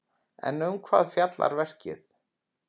En um hvað fjallar verkið?